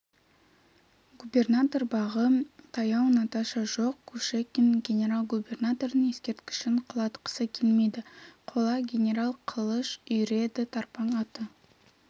губернатор бағы таяу наташа жоқ кушекин генерал-губернатордың ескерткішін құлатқысы келмейді қола генерал қылыш үйіреді тарпаң аты